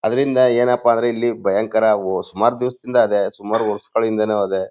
ಅದ್ರಿಂದ ಏನಪ್ಪಾ ಅಂದ್ರೆ ಇಲ್ಲಿ ಭಯಂಕರ ಓ ಸುಮಾರು ದಿವಸಗಳಿಂದ ಇದೆ ಸುಮಾರು ವರ್ಷಗಳಿಂದನು ಇದೆ.